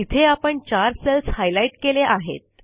इथे आपण चार सेल्स हायलाईट केले आहेत